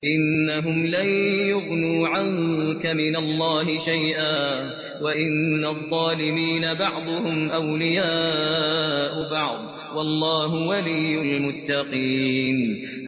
إِنَّهُمْ لَن يُغْنُوا عَنكَ مِنَ اللَّهِ شَيْئًا ۚ وَإِنَّ الظَّالِمِينَ بَعْضُهُمْ أَوْلِيَاءُ بَعْضٍ ۖ وَاللَّهُ وَلِيُّ الْمُتَّقِينَ